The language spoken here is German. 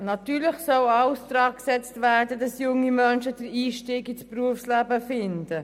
Natürlich soll alles daran gesetzt werden, dass junge Menschen den Einstieg ins Berufsleben finden.